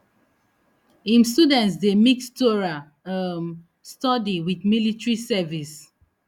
im students dey mix torah um study wit military service